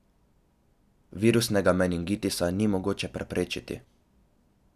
Virusnega meningitisa ni mogoče preprečiti.